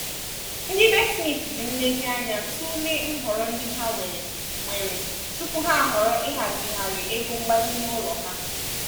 ndị be smith ji nlezianya tụlee nhọrọ ndị ha nwere nwere tupu ha ahọrọ ịhazigharị ego mgbazinye ụlọ ha.